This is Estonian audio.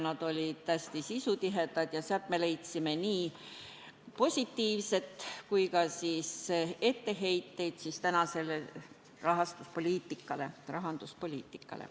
Need olid hästi sisutihedad ja me leidsime sealt nii positiivset kui kuulsime ka etteheiteid tänase rahanduspoliitika pärast.